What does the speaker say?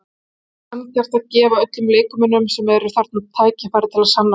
Það er sanngjarnt að gefa öllum leikmönnum sem eru þarna tækifæri til að sanna sig.